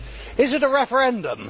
Is it a referendum?